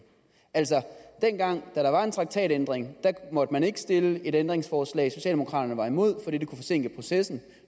altså dengang da der var en traktatændring måtte man ikke stille et ændringsforslag socialdemokraterne var imod det fordi det kunne forsinke processen